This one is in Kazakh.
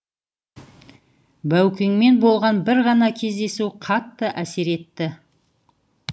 баукеңмен болған бір ғана кездесу қатты әсер етті